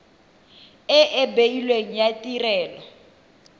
e e beilweng ya tirelo